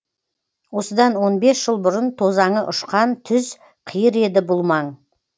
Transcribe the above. осыдан он бес жыл бұрын тозаңы ұшқан түз қиыр еді бұл маң